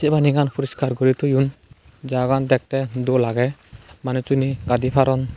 pani gan poriskar guri thoyun jaga gan dekte dol age manujcune gadi paron.